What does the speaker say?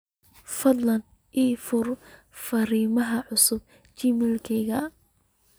fadlan ii firi fariimaha cusub gmailkayga